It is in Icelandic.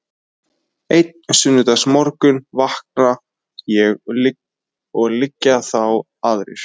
Einn sunnudagsmorgun vakna ég og liggja þá aðrir